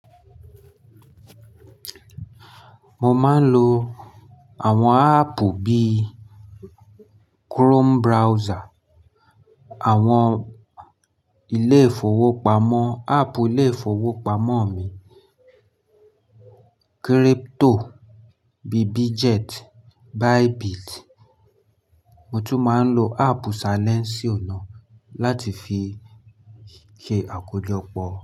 Mo máa ń lo àwọn áàpù bíi Chrome browser, àwọn ilé ìfowópamọ́, áàpù ilé ìfowópamọ́ mi, crypto, bi Bitget, Bybit. Mo tún máa ń lo áàpù Silénsíọ̀ na láti fi ṣe àkójọpọ̀